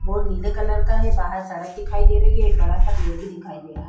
Board नीले colour का है बाहर सड़क दिखाई दे रही है एक बड़ा सा पेड़ भी दिखाई दे रहा है।